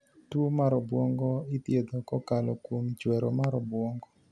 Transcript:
Tuo mar obuongo idhiedho kokalo kuom chwero mar obuongo .